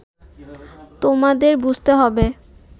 তোমাদের বুঝতে হবে